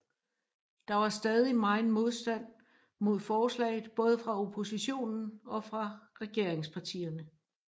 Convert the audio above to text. Der var stadig megen modstand mod forslaget både fra oppositionen og fra regeringspartierne